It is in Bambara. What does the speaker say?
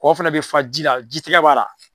Kɔ fana bɛ fa ji la, ji tigɛ b'a la.